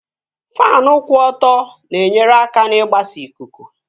Faanụ kwụ ọtọ na-enyere aka n'igbasa ikuku